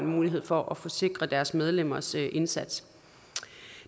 mulighed for at forsikre deres medlemmers indsats